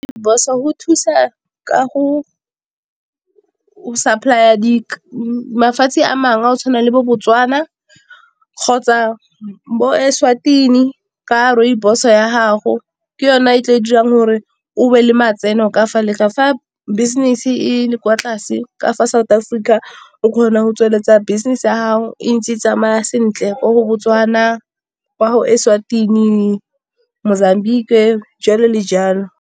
Rooibos go thusa ka go o supply-a mafatshe a mangwe, a go tshwana le bo Botswana kgotsa bo Eswatini ka rooibos ya gago. Ke yona e tlileng go dirang gore o be le matseno ka fa leka. Fa business e le kwa tlase ka fa South Africa o kgona go tsweletsa business ya gago e ntse e tsamaya sentle ko Botswana, kwa Eswatini, Mozambique jalo le jalo.